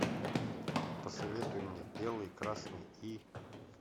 посоветуй мне белый красный и